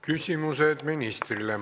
Küsimused ministrile.